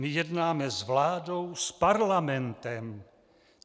My jednáme s vládou, s Parlamentem.